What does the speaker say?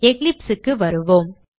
Eclipse க்கு வருவோம்